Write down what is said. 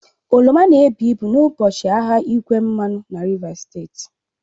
Oroma na-ebu ibu n'ụbọchị ahịa igwe mmanụ na Rivers steeti